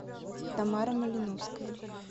тамара малиновская